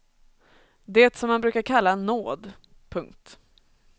Det som man brukar kalla nåd. punkt